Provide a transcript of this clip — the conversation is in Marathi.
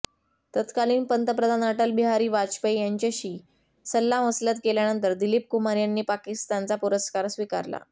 तत्कालीन पंतप्रधान अटलबिहारी वाजपेयी यांच्याशी सल्लामसलत केल्यानंतर दिलीप कुमार यांनी पाकिस्तानचा पुरस्कार स्वीकारला